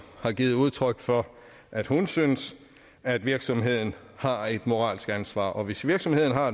har givet udtryk for at hun synes at virksomheden har et moralsk ansvar og hvis virksomheden har